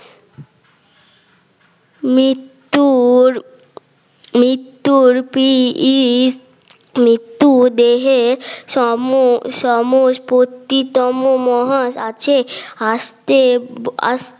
মৃত্যুর মৃত্যুর মৃত্যু দেহের সম সমস পত্তি তম মহান আছে আসতে